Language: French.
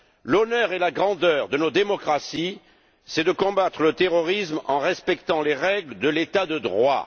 L'honneur et la grandeur de nos démocraties c'est de combattre le terrorisme en respectant les règles de l'état de droit.